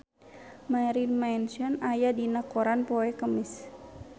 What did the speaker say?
Marilyn Manson aya dina koran poe Kemis